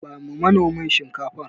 Bawa manomin Shinkafar.